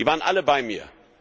Die waren alle bei mir.